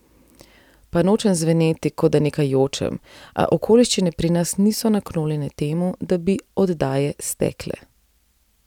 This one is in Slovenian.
Pa nočem zveneti, kot da nekaj jočem, a okoliščine pri nas niso naklonjene temu, da bi oddaje stekle.